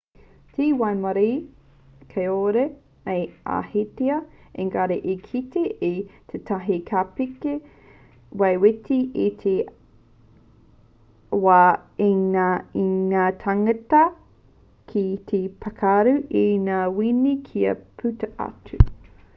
te waimarie kāore au i ahatia ēngari i kite au i tētahi kāpeka wetiweti i te wā i ngana ngā tāngata ki te pākaru i ngā wini kia puta atu